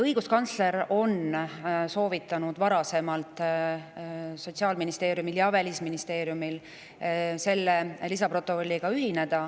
Õiguskantsler on varasemalt soovitanud Sotsiaalministeeriumile ja Välisministeeriumile, et selle lisaprotokolliga ühineks.